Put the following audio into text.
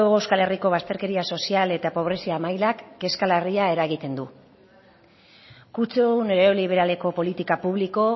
hego euskal herriko bazterkeria sozial eta pobrezia mailak kezka larria eragiten du kutsu neoliberaleko politika publiko